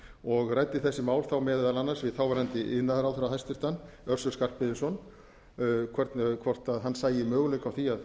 og ræddi þessi mál þá meðal annars við þáv iðnaðarráðherra hæstvirtur össur skarphéðinsson hvort hann sæi möguleika á því að